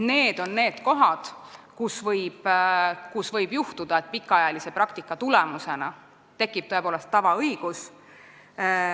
Need on need kohad, kus võib juhtuda, et pikaajalise praktika tulemusena tekib tõepoolest tavaõigus.